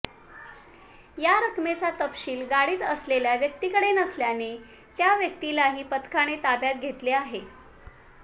या रकमेचा तपशील गाडीत असलेल्या व्यक्तीकडे नसल्याने त्या व्यक्तीलाही पथकाने ताब्यात घेतले आहे